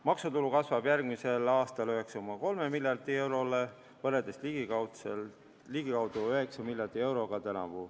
Maksutulu kasvab järgmisel aastal 9,3 miljardile eurole, tänavu oli ligikaudu 9 miljardit eurot.